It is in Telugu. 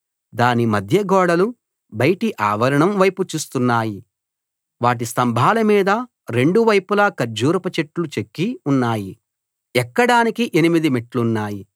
దాని మధ్య గోడలు బయటి ఆవరణం వైపు చూస్తున్నాయి వాటి స్తంభాల మీద రెండు వైపులా ఖర్జూరపుచెట్లు చెక్కి ఉన్నాయి ఎక్కడానికి ఎనిమిది మెట్లున్నాయి